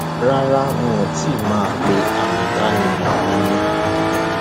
rara wọn ti mọ pé àmì ìdánimọ mi ni